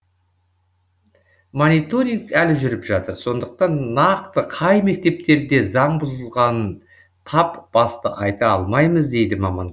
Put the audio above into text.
мониторинг әлі жүріп жатыр сондықтан нақты қай мектептерде заң бұзылғанын тап басып айта алмаймыз дейді маман